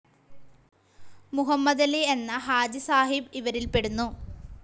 മുഹമ്മദലി എന്നാ ഹാജിസാഹിബ് ഇവരിൽപെടുന്നു.